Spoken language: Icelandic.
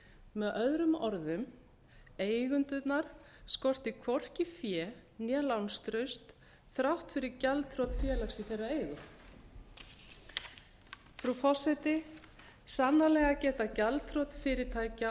með öðrum orðum eigendurna skorti hvorki fé né lánstraust þrátt fyrir gjaldþrot félags í þess eigu frú forseti sannarlega geta gjaldþrot fyrirtækja